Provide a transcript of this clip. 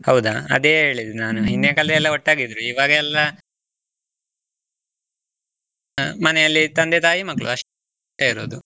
ಹೌದಾ ಅದೇ ಹೇಳಿದ್ದು ನಾನು, ಹಿಂದಿನ ಕಾಲದಲ್ಲಿ ಎಲ್ಲಾ ಒಟ್ಟಾಗಿ ಇದ್ದರೂ ಇವಾಗ ಎಲ್ಲಾ, ಮನೆಯಲ್ಲಿ ತಂದೆ ತಾಯಿ ಮಕ್ಕ್ಳು ಅಷ್ಟೇ ಇರುದು.